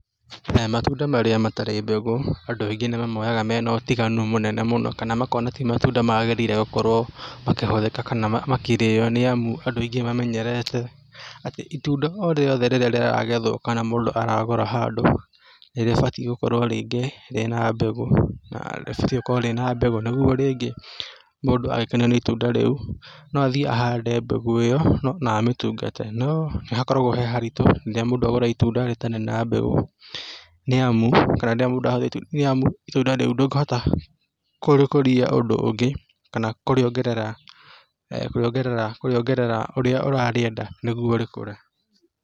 Matunda marĩa matarĩ mbegũ andũ nĩ mamoyaga mena ũtiganu mũnene mũno kana makona ti matunda magĩrĩire gũkorwo makĩhũthĩka kana makĩrĩo nĩ amu andũ aingĩ mamenyerete atĩ itunda o rĩothe rĩrĩa rĩragethwo kana mũndũ aragũra handũ nĩrĩbatiĩ gũkorwo rĩngĩ rĩna mbegũ, na rĩbatiĩ gũkorwo rĩ na mbegũ nĩguo rĩngĩ, mũndũ akenio nĩ itunda rĩu, no athiĩ ahande mbegũ ĩyo, na amĩtungate, no nĩ hakoragwo he haritũ rĩrĩa mũndũ agũra itunda rĩtarĩ na mbegũ, nĩ amu itunda rĩu ndũngĩhota kũrĩkũria ũndũ ũngĩ, kana kũrĩongerera, kũrĩongerera, kũrĩongerera ũrĩa ũrarĩenda nĩguo rĩkũre.